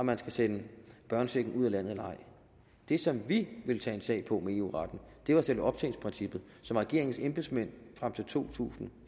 man skal sende børnechecken ud af landet eller ej det som vi ville tage en sag på med eu retten var selve optjeningsprincippet som regeringens embedsmænd frem til to tusind og